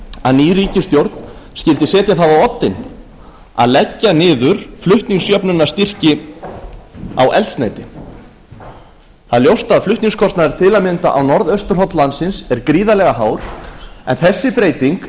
að ný ríkisstjórn skyldi setja það á oddinn að leggja niður flutningsjöfnunarstyrki á eldsneyti það er ljóst að flutningskostnaður til að mynda á norðausturhorn landsins er gríðarlega hár en þessi breyting